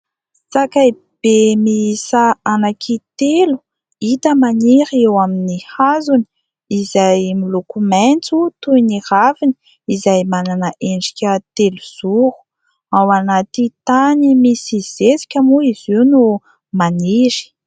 Sakaibe miisa anankitelo, hita maniry eo amin'ny hazony izay miloko maitso toy ny raviny izay manana endrika telo zoro. Ao anaty tany misy zezika moa izy io no maniry.